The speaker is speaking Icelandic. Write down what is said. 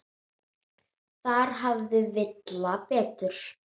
Þar hafði Villa betur.